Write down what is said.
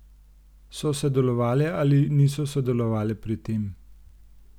So sodelovale ali niso sodelovale pri tem?